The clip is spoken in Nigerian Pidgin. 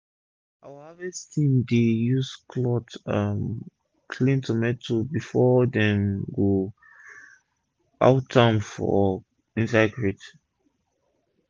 our after harvest team dey use cloth um clean tomatoes before dem go out am for inside crate